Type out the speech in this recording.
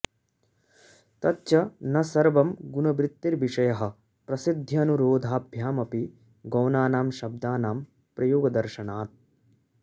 तच्च न सर्वं गुणवृत्तेर्विषयः प्रसिद्ध्यनुरोधाभ्यामपि गौणानां शब्दानां प्रयोगदर्शनात्